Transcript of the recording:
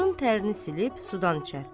Alnının tərini silib sudan içər.